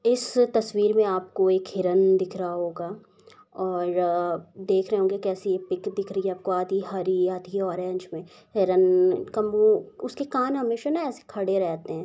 इस तस्वीर में आपको एक हिरण दिख रहा होगा और देख रहे होंगे कैसे एक पीक दिख रही होगी आधी हरी आधी ऑरेंज में हिरण का मुह उसके कान हमेशा ना एसे खड़े रहते है।